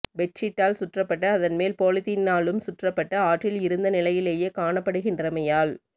பெட்சீட்டால் சுற்றப்பட்டு அதன் மேல் பொலீத்தீனாலும் சுற்றப்பட்டு ஆற்றில் இருந்த நிலையிலையே காணப்படுகின்றமையால்